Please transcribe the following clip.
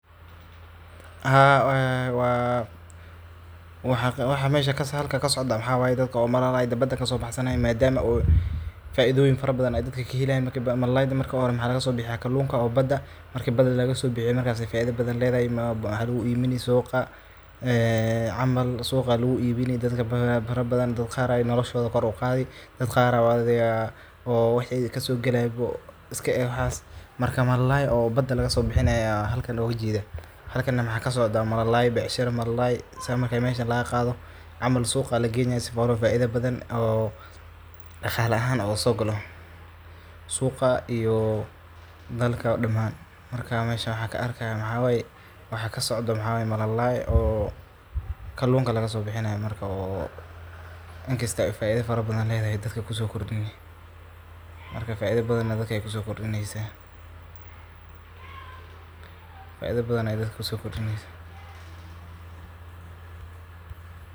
Waxa halkaa kasocdo waxawaye daadka oo malalayda baada kasobaxsanayan madaama faidhoyiin farabadhan ayy dadka ka helayan. Malalayda marki hore maxa lagasobixiya kalunka oo baada marka baada lagasobixiyo markaa faidhabadhan leedahahy maxa lagubini suga camal suga aa lagu ibini dadka farabadhan daad qaar ay nolashodha koor uqadhi daad qaar aya waxi kasogalay iska eeh waxas. Marka malalay oo baada lagasobixinay aa halkan loga jeeda, halkaan na waxa kasocda malalay bacshara malalay sa marka lagqadho camal suga aa lagenayan sifa oo faidha badhan oo daqala ahaan oo gasogalo suga iyo dalka daaman marka mesh awaxa karakayo waxawaye wax kasocdo waxaye malalay oo kalunka lagasobixinayo marka oo inkasta faidha farabadhan ay kusokordini marka faidha badhan dadka kusokordinaysa.